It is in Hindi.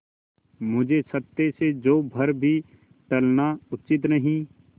मुझे सत्य से जौ भर भी टलना उचित नहीं